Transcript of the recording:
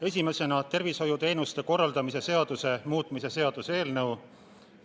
Esiteks, tervishoiuteenuste korraldamise seaduse muutmise seaduse eelnõu.